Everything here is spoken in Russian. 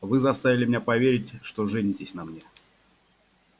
вы заставили меня поверить что женитесь на мне